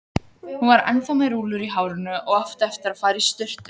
Hún var ennþá með rúllur í hárinu og átti eftir að fara í sturtu.